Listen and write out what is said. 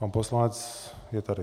Pan poslanec je tady.